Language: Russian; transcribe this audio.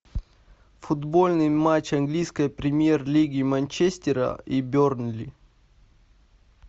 футбольный матч английской премьер лиги манчестера и бернли